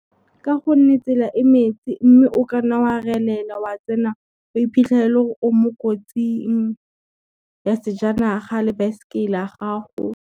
Ka gonne tsela e metsi mme o kanna wa relela wa iphitlhela e lo re o mo kotsing ya sejanaga le baesekele ya gago.